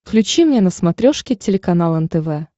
включи мне на смотрешке телеканал нтв